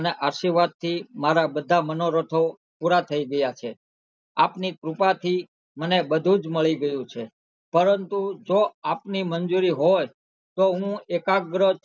અને આર્શીવાદ થી મારા બધા મનોરથો પુરા થઈ ગયા છે આપની કૃપા થી મને બધુંજ મલી ગયું છે પરંતુ જો આપની મંજૂરી હોય તો હુ એકગ્ર